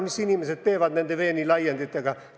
Mida inimesed praegu nende veenilaienditega teevad?